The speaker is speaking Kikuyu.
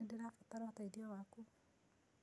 Nĩndĩrabatara ũteĩthĩo wakũ.